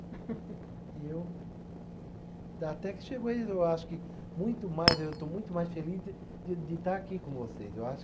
E eu. Dá, até que chegou, eu acho que muito mais, eu estou muito mais feliz de de de estar aqui com vocês. Eu acho